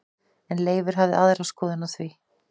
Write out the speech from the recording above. En Leifur hafði aðra skoðun á því.